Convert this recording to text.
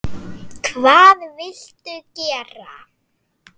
Hvað viltu gera?